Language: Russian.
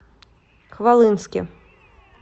хвалынске